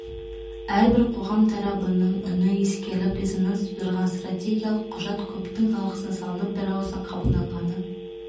әрбір қоғам тарабының үні ескеріліп резонанс тудырған стратегиялық құжат көптің талқысына салынып бірауыздан қабылданғаны